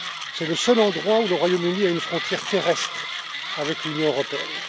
C'est le seul endroit où le Royaume Uni a une frontière terrestre avec l'Union européenne.